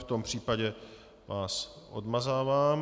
V tom případě vás odmazávám.